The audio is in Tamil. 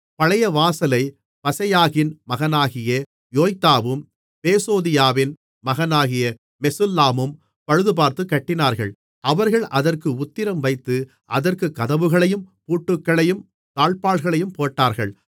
பழைய வாசலைப் பசெயாகின் மகனாகிய யோய்தாவும் பேசோதியாவின் மகனாகிய மெசுல்லாமும் பழுதுபார்த்துக் கட்டினார்கள் அவர்கள் அதற்கு உத்திரம் வைத்து அதற்குக் கதவுகளையும் பூட்டுகளையும் தாழ்ப்பாள்களையும் போட்டார்கள்